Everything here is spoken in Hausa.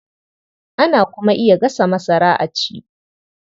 Ana kuma iya gasa masara a ci.